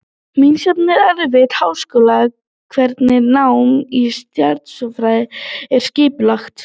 Misjafnt er eftir háskólum hvernig nám í stjarneðlisfræði er skipulagt.